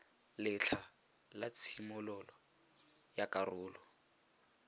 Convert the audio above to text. letlha la tshimololo ya karolo